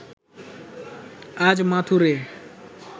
আজ মাথুরে